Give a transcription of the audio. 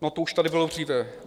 No, to už tady bylo dříve.